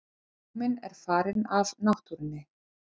Ljóminn er farinn af náttúrunni.